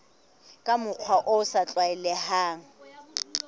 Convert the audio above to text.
ka mokgwa o sa tlwaelehang